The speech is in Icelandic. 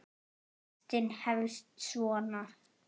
Textinn hefst svona